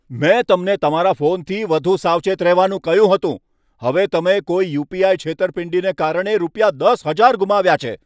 મેં તમને તમારા ફોનથી વધુ સાવચેત રહેવાનું કહ્યું હતું. હવે તમે કોઈ યુ.પી.આઈ. છેતરપિંડીને કારણે રૂપિયા દસ હજાર ગુમાવ્યા છે.